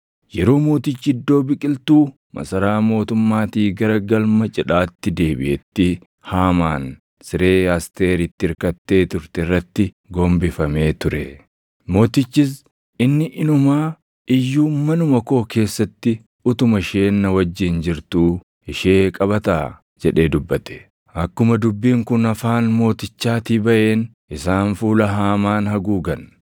Yeroo mootichi iddoo biqiltuu masaraa mootummaatii gara galma cidhaatti deebiʼetti Haamaan siree Asteer itti irkattee turte irratti gombifamee ture. Mootichis, “Inni inumaa iyyuu manuma koo keessatti utuma isheen na wajjin jirtuu ishee qabataa?” jedhee dubbate. Akkuma dubbiin kun afaan mootichaatii baʼeen isaan fuula Haamaan haguugan.